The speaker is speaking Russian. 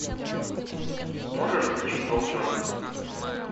можешь включить волчонок